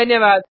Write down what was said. धन्यवाद